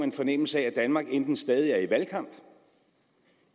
en fornemmelse af at danmark enten stadig er i valgkamp